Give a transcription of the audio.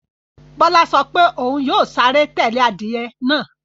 Bọ́lá sọ pé òun yóò sáré tẹ́lẹ̀ adìyẹ náà